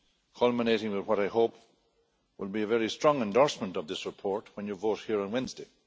culminating in what I hope will be a very strong endorsement of this report when you vote here on Wednesday.